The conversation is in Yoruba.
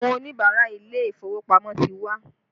Àwọn Oníbàárà ilé ìfowópamọ́ ti wá